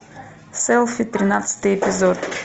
селфи тринадцатый эпизод